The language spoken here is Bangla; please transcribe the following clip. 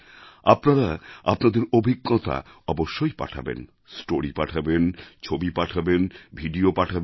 আপনারা আপনাদের অভিজ্ঞতা অবশ্যই পাঠাবেন স্টোরি পাঠাবেন ছবি পাঠাবেন ভিডিও পাঠাবেন